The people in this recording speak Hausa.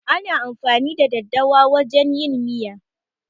Ana amfani da daddawa wajen yin miya.